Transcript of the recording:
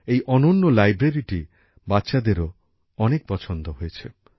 এই অনন্য লাইব্রেরীটি বাচ্চাদেরও অনেক পছন্দ হয়েছে